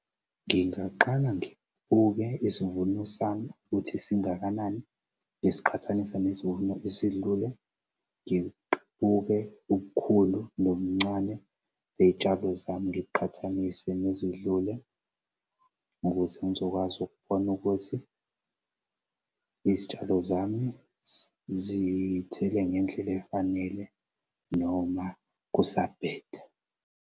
Ngingaqala ngibuke isimvuno sami ukuthi singakanani ngisiqhathanise nesivuno esidlule ubukhulu nobumncane ney'tshalo zami ngikuqhathanise nezidlule, ukuze ngizokwazi ukubona ukuthi izitshalo zami zithele ngendlela efanele noma kusabheda.